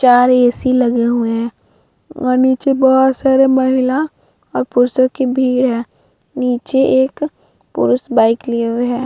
चार ए.सी. लगे हुए हैं और नीचे बहुत सारी महिला और पुरुषों की भीड़ है नीचे एक पुरुष बाइक लिए हुए है।